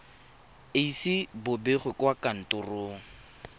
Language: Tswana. ise bo begwe kwa kantorong